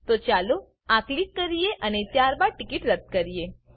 તો ચાલો આ ક્લિક કરીએ અને ત્યારબાદ ટીકીટ રદ્દ કરીએ